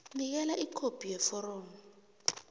nikela ikhophi yeforomo